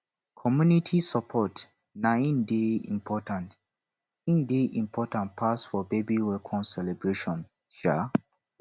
community support na im dey important im dey important pass for baby welcome celebration um